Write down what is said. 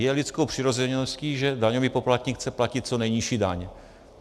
Je lidskou přirozeností, že daňový poplatník chce platit co nejnižší daň.